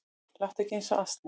Láttu ekki eins og asni